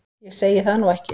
Ég segi það nú ekki.